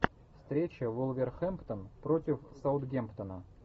встреча вулверхэмптон против саутгемптона